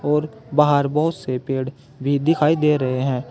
और बाहर बहुत से पेड़ भी दिखाई दे रहे हैं।